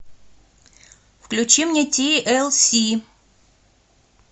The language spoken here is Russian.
включи мне ти эл си